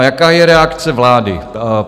A jaká je reakce vlády?